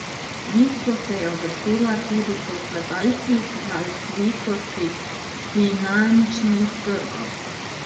Nizko se je uvrstila tudi po kazalcih razvitosti finančnih trgov.